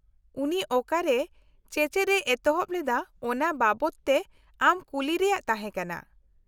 ᱩᱱᱤ ᱚᱠᱟᱨᱮ ᱪᱮᱪᱮᱫ ᱮ ᱮᱛᱚᱦᱚᱵ ᱞᱮᱫᱟ ᱚᱱᱟ ᱵᱟᱵᱚᱫ ᱛᱮ ᱟᱢ ᱠᱩᱞᱤ ᱨᱮᱭᱟᱜ ᱛᱟᱦᱮᱸ ᱠᱟᱱᱟ ᱾